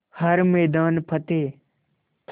हर मैदान फ़तेह